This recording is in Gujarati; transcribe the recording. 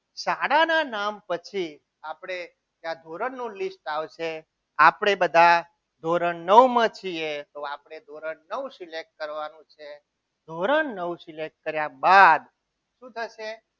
શાળાના નામ પછી આપણે ત્યાં ધોરણ નું list આવશે આપણે બધા ધોરણ નવ માં છીએ આપણે ધોરણ નવ select કરવાનું છે ધોરણ નવ select કર્યા બાદ શું થશે